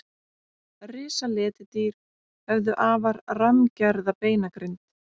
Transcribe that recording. Risaletidýr höfðu afar rammgerða beinagrind.